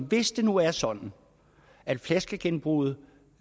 hvis det nu er sådan at flaskegenbruget